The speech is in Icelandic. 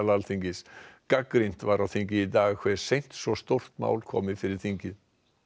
Alþingis gagnrýnt var á þingi í dag hve seint svo stórt mál komi fyrir þingið